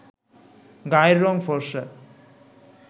গায়ের রং ফরসা